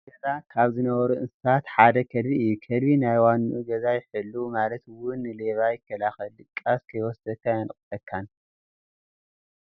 ኣብ ገዛ ካብ ዝነብሩ እንስሳታት ሓደ ከልቢ እዩ፡፡ ከልቢ ናይ ዋንኡ ገዛ ይሕልው ማለት እውን ንሌባ ይከላኸልን ድቃስ ከይወስደካ የንቀሐካን፡፡